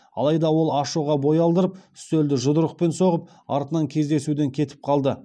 алайда ол ашуға бой алдырып үстелді жұдырықпен соғып артынан кездесуден кетіп қалды